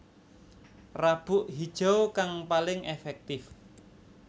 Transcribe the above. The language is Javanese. Rabuk Hijau kang paling èfèktif